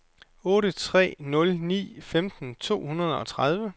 otte tre nul ni femten to hundrede og tredive